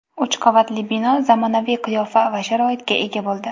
Uch qavatli bino zamonaviy qiyofa va sharoitga ega bo‘ldi.